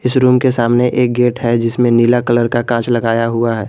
इस रूम के सामने एक गेट है जिसमें नीला कलर का कांच लगाया हुआ है।